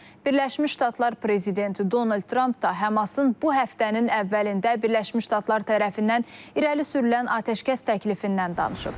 Birləşmiş Ştatlar prezidenti Donald Tramp da HƏMAS-ın bu həftənin əvvəlində Birləşmiş Ştatlar tərəfindən irəli sürülən atəşkəs təklifindən danışıb.